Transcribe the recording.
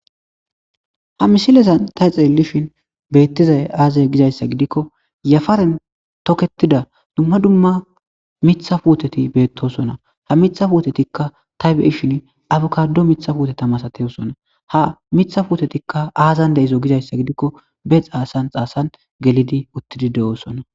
Ha misilezan tay xeellishin beettizay aazay gizayssa gidikko yafaren toketida dumma dumma mitha puoteti beettosona ha mitha puotetikka taybe ishin abukado mitha puotetamasateyosona ha mitha puutetikka aazan de izo gizayssa gidikko be xaasan xaasan gelidi uttidi de,oosona.